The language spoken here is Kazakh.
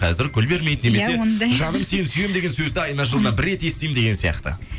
қазір гүл бермейді немесе иә ондай жаным сені сүйем деген сөзді айына жылына бір рет естеймін деген сияқты